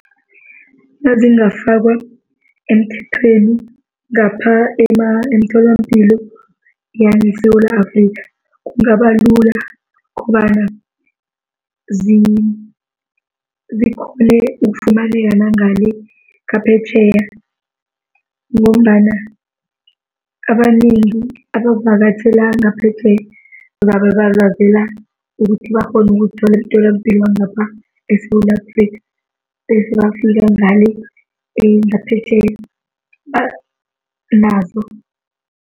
Nazingafakwa emthethweni ngapha emtholampilo yangeSewula Afrikha kungaba lula, kobana zikhone ukufumaneka nangale ngaphetjheya. Ngombana abanengi abavakatjhela ngaphetjheya zabe bazazela ukuthi bakghone uzikuthola emtholapilo wangapha eSewula Afrikha bese bafika ngale ngaphetjheya banazo.